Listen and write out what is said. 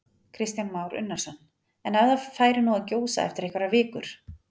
Kristján Már Unnarsson: En ef það færi nú að gjósa eftir einhverjar vikur?